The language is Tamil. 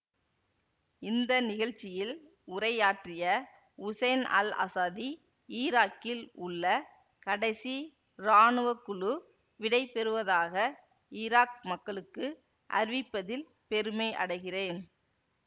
இந்த நிகழ்ச்சியில் உரையாற்றிய உசைன் அல் அசாதி ஈராக்கில் உள்ள கடைசி ராணுவ குழு விடை பெறுவதாக ஈராக் மக்களுக்கு அறிவிப்பதில் பெருமை அடைகிறேன்